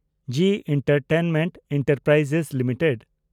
G entertainment enterprises limited